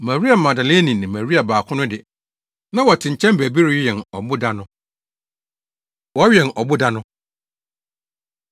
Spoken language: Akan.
Maria Magdalene ne Maria baako no de, na wɔte nkyɛn baabi rewɛn ɔboda no. Wɔwɛn Ɔboda No